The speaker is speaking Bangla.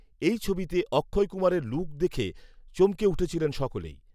এই ছবিতে অক্ষয় কুমারের লুক দেখএ চমকে উঠেছিলেন সকলেই